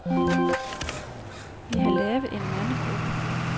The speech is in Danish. Vi har lavet en mandegruppe.